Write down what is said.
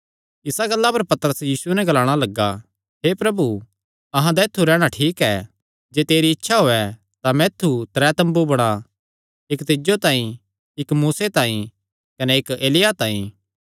इसा गल्ला पर पतरस यीशुये नैं ग्लाणा लग्गा हे प्रभु अहां दा ऐत्थु रैहणा ठीक ऐ जे तेरी इच्छा होयैं तां मैं ऐत्थु त्रै तम्बू बणां इक्क तिज्जो तांई इक्क मूसे तांई कने इक्क एलिय्याह तांई